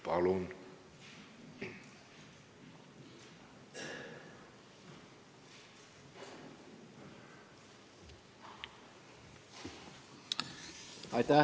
Palun!